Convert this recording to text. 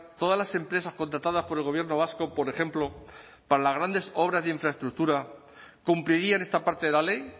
todas las empresas contratadas por el gobierno vasco por ejemplo para las grandes obras de infraestructura cumplirían esta parte de la ley